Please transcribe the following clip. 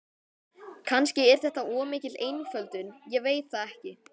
Kannski er þetta of mikil einföldun, ég veit það ekki.